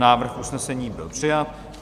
Návrh usnesení byl přijat.